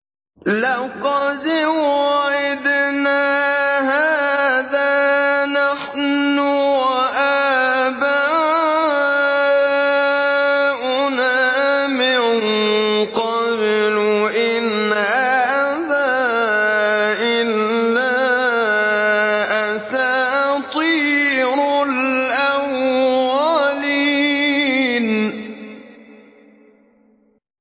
لَقَدْ وُعِدْنَا هَٰذَا نَحْنُ وَآبَاؤُنَا مِن قَبْلُ إِنْ هَٰذَا إِلَّا أَسَاطِيرُ الْأَوَّلِينَ